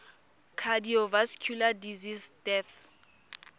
cardiovascular disease deaths